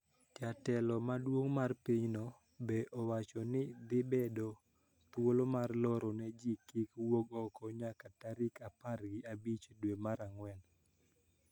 Jatelo maduong` mar pinyno be owacho ni dhi medo thuolo mar loro ne ji kik wuog oko nyaka tarik apar gi abich dwe mar ang`wen.